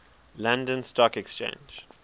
london stock exchange